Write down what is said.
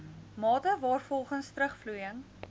mate waarvolgens terugvloeiing